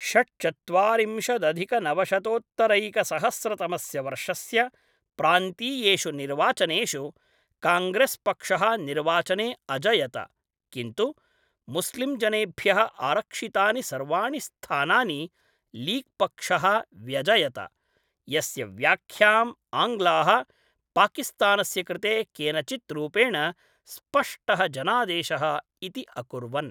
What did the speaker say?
षड्चत्वारिंशदधिकनवशतोत्तरैकसहस्रतमस्य वर्षस्य प्रान्तीयेषु निर्वाचनेषु, काङ्ग्रेस्पक्षः निर्वाचने अजयत, किन्तु मुस्लिम्जनेभ्यः आरक्षितानि सर्वाणि स्थानानि लीग्पक्षः व्यजयत, यस्य व्याख्यां आङ्ग्लाः पाकिस्तानस्य कृते केनचित् रूपेण स्पष्टः जनादेशः इति अकुर्वन्।